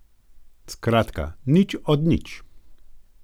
Skratka, nič od nič.